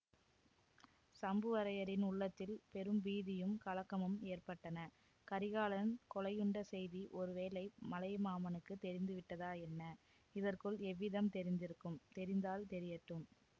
சம்புவரையரின் உள்ளத்தில் பெரும் பீதியும் கலக்கமும் ஏற்பட்டன கரிகாலன் கொலையுண்ட செய்தி ஒருவேளை மலையமானுக்கும் தெரிந்துவிட்டதா என்ன இதற்குள் எவ்விதம் தெரிந்திருக்கும் தெரிந்தால் தெரியட்டும்